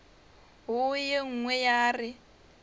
wo ye nngwe ya re